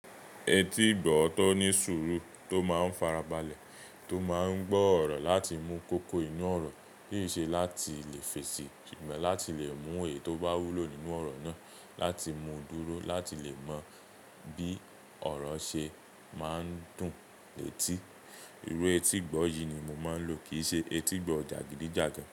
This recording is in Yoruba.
Etí ìgbọ́ tọ̀ ní sùúrù tó máa ń farabalẹ̀ tó máa ń gbọ́ ọ̀rọ̀ láti mú koko inú ọ̀rọ̀ kì í ṣe láti lè fèsì, sugbọ́n láti lè mú èyí tó bá wúlò nínú ọ̀rọ̀ náà láti mú dúró láti lè mọ bí ọ̀rọ̀ ṣe máa ń dùn letí. Irú etí ìgbọ́ yìí ni mo máa ń lò kì í ṣe etí ìgbọ́ jagidijagan.